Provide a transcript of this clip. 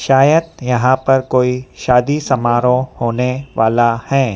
शायद यहां पर कोई शादी समारोह होने वाला है।